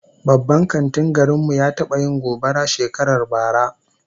Babban kantin garin mu ya taba yin gobara shekarar bara